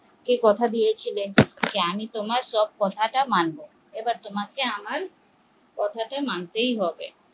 আমি কথা দিয়েছিলাম তোমার সব কথা মানব এবার তোমাকে আমার সব কথা মানতেই হবে